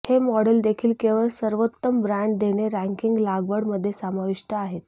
हे मॉडेल देखील केवळ सर्वोत्तम ब्रँड देणे रँकिंग लागवड मध्ये समाविष्ट आहेत